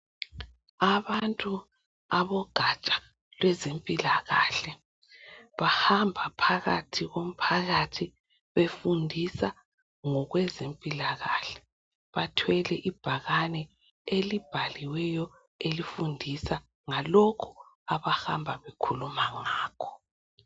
Abantu abeogaja abezempila kahle bahamba phakathi komphakathi befundisa ngokwezempila kahle bathwele ibhakane elibhaliwe elifundisa ngalokho abahamba bekhuluma ngakho.